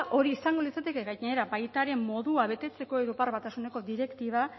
hori izango litzateke gainera baita ere modua betetzeko europar batasuneko direktiba